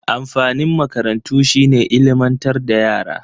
Amfanin makarantu shi ne ilmantar da yara.